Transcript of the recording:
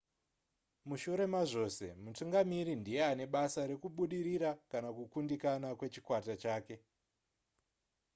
mushure mazvose mutungamiri ndiye ane basa rekubudirira kana kukundikana kwechikwata chake